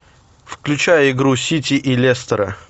включай игру сити и лестера